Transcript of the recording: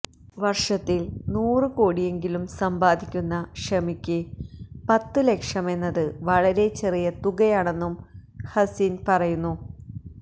വര്ഷത്തില് നൂറ് കോടിയെങ്കിലും സമ്പാദിക്കുന്ന ഷമിക്ക് പത്ത് ലക്ഷമെന്നത് വളരെ ചെറിയ തുകയാണെന്നും ഹസിന് പറയുന്നു